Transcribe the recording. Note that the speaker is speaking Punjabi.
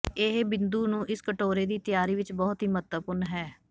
ਇਹ ਬਿੰਦੂ ਨੂੰ ਇਸ ਕਟੋਰੇ ਦੀ ਤਿਆਰੀ ਵਿੱਚ ਬਹੁਤ ਹੀ ਮਹੱਤਵਪੂਰਨ ਹੈ